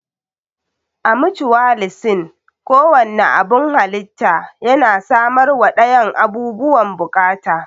A mucuwalisim, ko wanne abun halitta yana samarwa dayan abubuwan bukata.